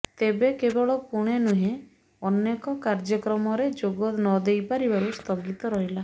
ତେବେ କେବଳ ପୁଣେ ନୁହେଁ ଅନେକ କାର୍ଯ୍ୟକ୍ରମରେ ଯୋଗନଦେଇପାରିବାରୁ ସ୍ଥଗିତ ରହିଲା